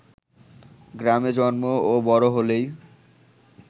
গ্রামে জন্ম ও বড় হলেই